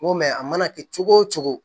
N ko mɛ a mana kɛ cogo o cogo